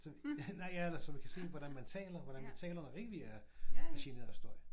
Nej ja eller så vi kan se hvordan man taler hvordan vi taler når ikke vi er er generet af støj